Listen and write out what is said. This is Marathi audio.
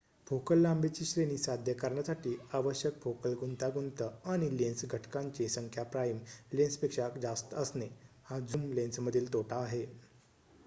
फोकल लांबीची श्रेणी साध्य करण्यासाठी आवश्यक फोकल गुंतागुंत आणि लेन्स घटकांची संख्या प्राइम लेन्सपेक्षा जास्त असणे हा झूम लेन्समधील तोटा आहे